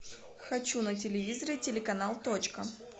хочу на телевизоре телеканал точка